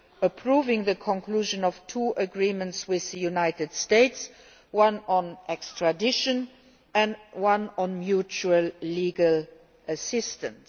approving the conclusion of two agreements with the United States one on extradition and one on mutual legal assistance.